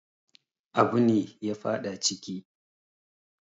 Abune ya faɗa ciki